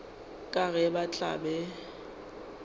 ka ge ba tla be